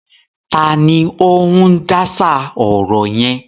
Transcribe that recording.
Ta ni ó ń dáṣà ọ̀rọ̀ yẹn?